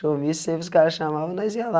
showmício, sempre que os caras chamavam, nós ia lá.